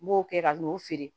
N b'o kɛ ka n'o feere